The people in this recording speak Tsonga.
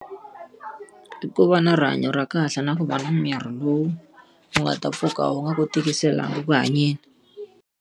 I ku va na rihanyo ra kahle na ku va na miri lowu wu nga ta pfuka wu nga ku tikiselangi ku hanyeni.